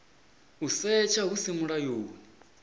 u setsha hu si mulayoni